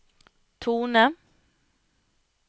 tone